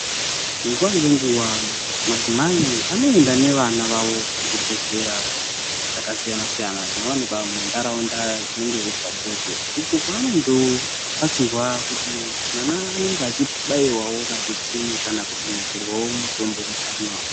Nguwa ngenguwa madzimai anoenda nevana vavo kuzvibhedhlera zvakasiyana-siyana zvinowanikwa muntaraunda dzinenge dziri padhuze uko kwaanondobatsirwa kuti mwana anenge achibaiwawo majekiseni kana kudonhedzerwawo mutombo mukanwa.